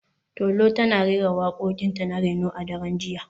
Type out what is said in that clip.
Tolu tana rera wakokinta na reno a daren jiya